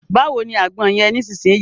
Báwo ni àgbọn yẹn nisinyi?